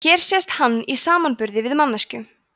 hér sést hann í samanburði við manneskju